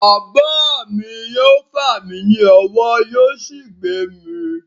Bàbá mi yóò fà mí ní ọwọ́ yóò sì gbé mi.